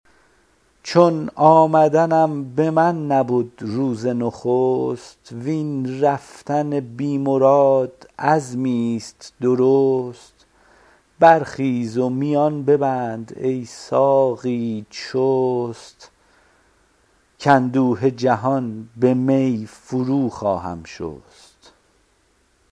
چون آمدنم به من نبد روز نخست وین رفتن بی مراد عزمی ست درست برخیز و میان ببند ای ساقی چست کاندوه جهان به می فرو خواهم شست